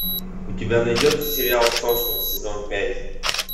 у тебя найдется сериал сосны сезон пять